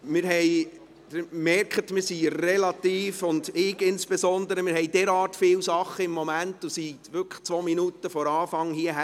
Sie merken es: Wir, und insbesondere ich, haben im Moment so viel um die Ohren und waren wirklich erst 2 Minuten vor Beginn der Sitzung hier.